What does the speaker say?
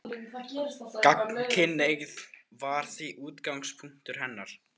Gagnkynhneigð var því útgangspunktur hennar.